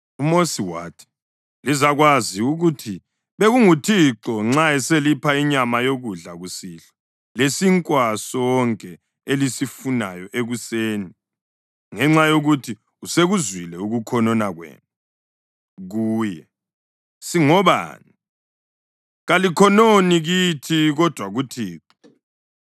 UMosi wathi, “Lizakwazi ukuthi bekunguThixo nxa eselipha inyama yokudla kusihlwa lesinkwa sonke elisifunayo ekuseni ngenxa yokuthi usekuzwile ukukhonona kwenu kuye. Singobani? Kalikhononi kithi kodwa kuThixo.”